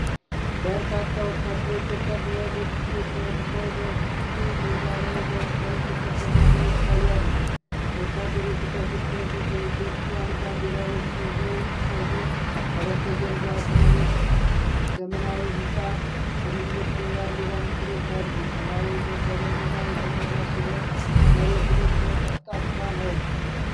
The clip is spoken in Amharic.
በርካታ ወታደሮች ወታደራዊ ልብስ ለብሰው በክፍት ሜዳ ላይ ለሰልፍ ተሰልፈው ይታያሉ። ወታደሮቹ ከፊት ለፊት የኢትዮጵያን ባንዲራዎች ይዘው ሲቆሙ፣ ከበስተጀርባ ትልቅ ዘመናዊ ህንጻና ትልልቅ የባንዲራ ምስሎች አሉ። ሰማዩ በደመና የተሞላ ሲሆን፣ መሬቱ ደግሞ ጠፍጣፋ ነው።